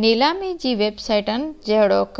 نيلامي جي ويب سائيٽن جهڙوڪ